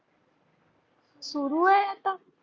सुरु आहे आता.